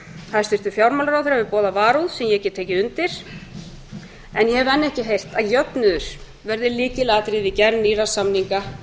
hæstvirtur fjármálaráðherra hefur boðað varúð sem ég get tekið undir en ég hef enn ekki heyrt að jöfnuður verði lykilatriði í gerð nýrra samninga